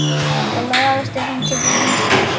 Það lagast ef hann tekur lýsi.